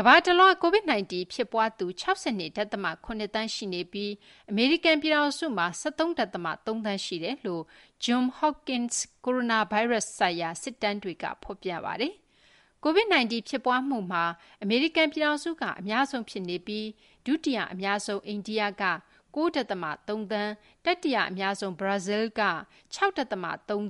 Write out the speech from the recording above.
ကမ္ဘာတလွှား COVID-19 ဖြစ်ပွားသူ ၆၂ ဒသမ ၇ သန်းရှိပြီး အမေရိကန် ပြည်ထောင်စုမှာ ၁၃ ဒသမ ၃ သန်း ရှိနေတယ်လို့ Johns Hopkins ကိုရိုနာဗိုင်းရပ်စ် ဆိုင်ရာ စာရင်းတွေက ဖော်ပြပါတယ်။ COVID-19 ဖြစ်ပွားမှုမှာ အမေရိကန် ပြည်ထောင်စုက အများဆုံး ဖြစ်နေပြီး ဒုတိယ အများဆုံး အိန္ဒိက ၉ ဒသမ ၃ သန်း၊ တတိယ အများဆုံး ဘရာဇီလ်းက ၆ ဒသမ ၃ သန်း